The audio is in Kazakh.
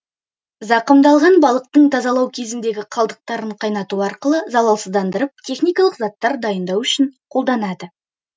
зақымдалған балықтың тазалау кезіндегі қалдықтарын қайнату арқылы залалсыздандырып техникалық заттар дайындау үшін қолданады